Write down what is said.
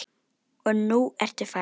Og nú ertu farin.